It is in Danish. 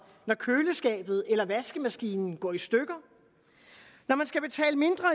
når køleskabet eller vaskemaskinen går i stykker når man skal betale mindre